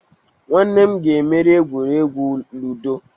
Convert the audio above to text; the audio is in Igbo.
Nwanne m ga emeri egwuregwu ludo.